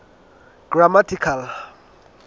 grammatical